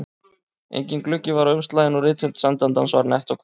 Enginn gluggi var á umslaginu og rithönd sendandans var nett og kvenleg.